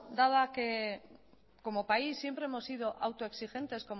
dado que como país siempre hemos sido autoexigentes